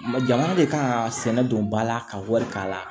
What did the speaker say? Jamana de kan ka sɛnɛ don ba la ka wari k'a la